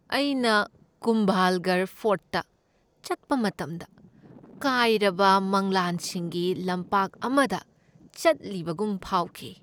ꯑꯩꯅ ꯀꯨꯝꯚꯥꯜꯒꯔ ꯐꯣꯔꯠꯇ ꯆꯠꯄ ꯃꯇꯝꯗ ꯀꯥꯏꯔꯕ ꯃꯪꯂꯥꯟꯁꯤꯡꯒꯤ ꯂꯝꯄꯥꯛ ꯑꯃꯗ ꯆꯠꯂꯤꯕꯒꯨꯝ ꯐꯥꯎꯈꯤ꯫